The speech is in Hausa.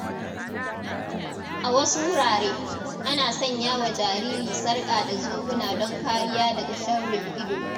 A wasu wurare, ana sanya wa jariri sarƙa da zobuna don kariya daga sharrin ido.